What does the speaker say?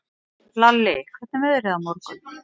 Lalli, hvernig er veðrið á morgun?